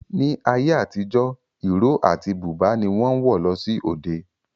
Ní ayé àtijọ́, ìró àti búbà ni wọ́n ń wọ̀ lọ sí òde